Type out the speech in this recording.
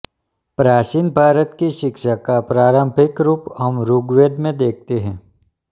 प्राचीन भारत की शिक्षा का प्रारंभिक रूप हम ऋग्वेद में देखते हैं